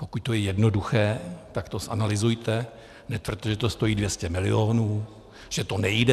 Pokud to je jednoduché, tak to zanalyzujte, netvrďte, že to stojí 200 milionů, že to nejde.